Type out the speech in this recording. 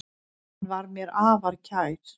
Hann var mér afar kær.